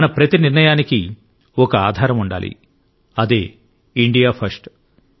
మన ప్రతి నిర్ణయానికి ఒక ఆధారం ఉండాలి అదే ఇండియా ఫస్ట్